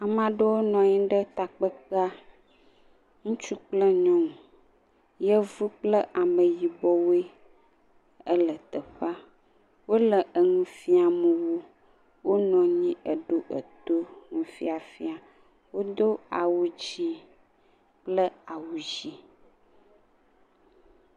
Ame aɖewo nɔ anyi ɖe takpekpea. Ŋutsu kple nyɔnu. Yevu kple ameyibɔwoe ele teƒe. Wo le enu fiam wo. Wonɔ nyi eɖo eto nufiafia. Wodo awu dzi kple awu dzi.